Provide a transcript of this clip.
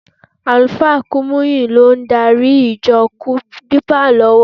Àlùfáà Kúmúyì ló ń gààrí ìjọ Dípà lọ́wọ́.